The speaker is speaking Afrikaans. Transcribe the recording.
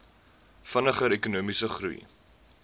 vinniger ekonomiese groei